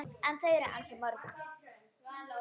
En þau eru ansi mörg